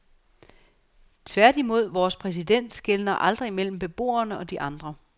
Tværtimod, vores præsident skelner aldrig mellem beboerne og de andre.